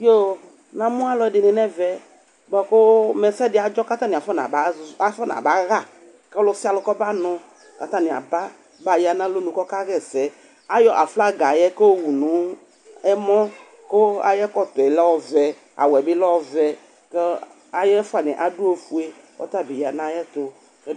namu ɔluɛdini nu ɛvɛ băku ɛsɛdi atcɛ ku aƒɛnabay ku ɔlusali kubanu atini abaya nu alunu kakaɛsɛ ayɔ afaga ku ɔwu nu ɛmɔ ku ayɛtutɔ lɛ ɔvɛ awɛbi lɛ ɔvɛ ku ayɛfani adɔ ufɛ ku ɔtabiya nu ayɛtu